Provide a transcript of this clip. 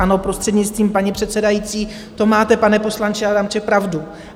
Ano, prostřednictvím paní předsedající, to máte, pane poslanče Adamče, pravdu.